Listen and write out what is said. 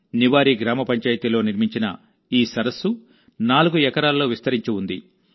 నివారి గ్రామ పంచాయతీలో నిర్మించిన ఈ సరస్సు 4 ఎకరాల్లో విస్తరించి ఉంది